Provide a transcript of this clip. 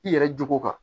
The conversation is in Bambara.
I yɛrɛ jogo kan